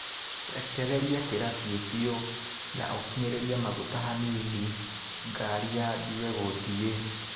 Rekereria kĩraci biũ na ũkinyĩrĩrie maguta hanini ngari yambie gũthiĩ.